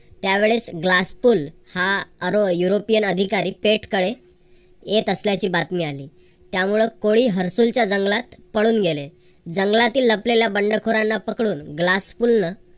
त्यावेळेस glasscool हा आरोह युरोपियन अधिकारी पेठ कडे येत असल्याची बातमी आली. त्यामुळ कोळी हरसूलच्या जंगलात पळून गेले. जंगलातील लपलेल्या बंडखोरांना पकडून glasscool न